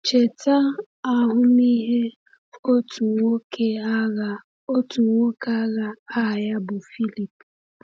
Cheta ahụmịhe otu nwoke agha otu nwoke agha aha ya bụ Phillip.